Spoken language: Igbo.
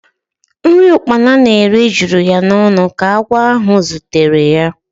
Nri ukpana na-eri juru ya n'ọnụ ka agwọ ahụ zutere ya.